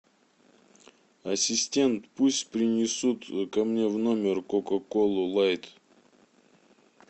ассистент пусть принесут ко мне в номер кока колу лайт